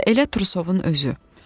Ya da elə Trusovun özü.